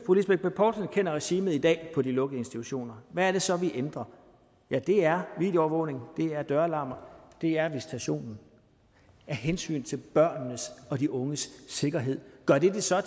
poulsen kender regimet i dag på de lukkede institutioner hvad er det så vi ændrer ja det er videoovervågning det er døralarmer og det er visitation af hensyn til børnenes og de unges sikkerhed gør det det så